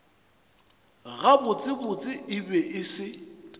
gabotsebotse e be e se